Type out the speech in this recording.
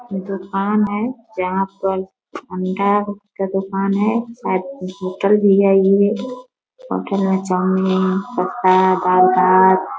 दोकान है जहाँ पर अंडा का दुकान है साइड में होटल भी है इ होटल मे चौमिन --